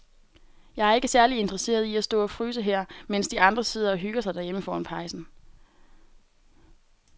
Jeg er ikke særlig interesseret i at stå og fryse her, mens de andre sidder og hygger sig derhjemme foran pejsen.